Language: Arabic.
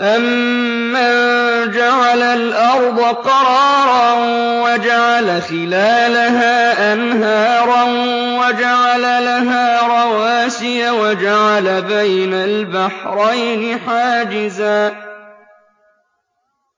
أَمَّن جَعَلَ الْأَرْضَ قَرَارًا وَجَعَلَ خِلَالَهَا أَنْهَارًا وَجَعَلَ لَهَا رَوَاسِيَ وَجَعَلَ بَيْنَ الْبَحْرَيْنِ حَاجِزًا ۗ